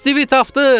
Stivi tapdıq!